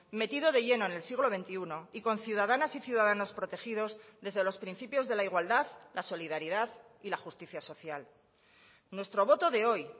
metido de lleno en el siglo veintiuno y con ciudadanas y ciudadanos protegidos desde los principios de la igualdad la solidaridad y la justicia social nuestro voto de hoy